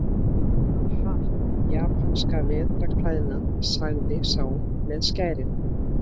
Aha, japanskan vetrarklæðnað, sagði sá með skærin.